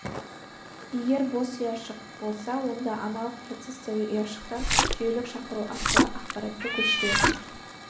егер бос ұяшық болса онда аналық процестегі ұяшықтан жүйелік шақыру арқылы ақпаратты көшіреді